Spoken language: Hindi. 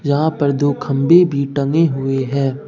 यहां पर दो खंभे भी टंगे हुए है।